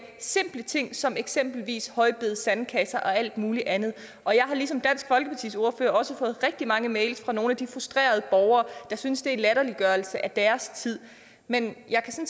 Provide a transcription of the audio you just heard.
simple ting som eksempelvis højbede sandkasser og alt muligt andet og jeg har ligesom dansk folkepartis ordfører også fået rigtig mange mails fra nogle af de frustrerede borgere der synes det er en latterliggørelse af deres tid men jeg kan